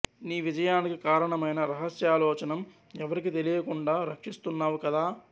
నీ విజయానికి కారణమైన రహస్యాలోచనం ఎవరికి తెలియకుండా రక్షిస్తున్నావు కదా